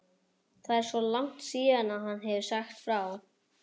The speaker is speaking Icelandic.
Það er svo langt síðan hann hefur sagt frá.